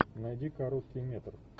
найди короткий метр